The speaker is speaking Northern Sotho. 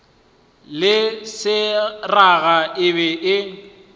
le seraga e be e